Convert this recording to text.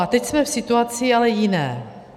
A teď jsme v situaci ale jiné.